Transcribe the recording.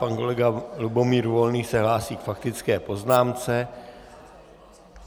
Pan kolega Lubomír Volný se hlásí k faktické poznámce.